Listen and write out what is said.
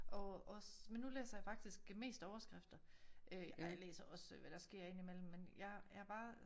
Og også men nu læser jeg faktisk mest overskrifter øh ej jeg læser også hvad der sker ind i mellem men jeg jeg er bare